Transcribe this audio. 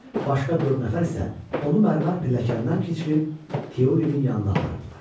Başqa dörd nəfər isə onu mərmər pilləkəndən keçirib Teolinin yanına aparırdılar.